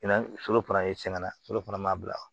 Na foro fana foro fana ma bila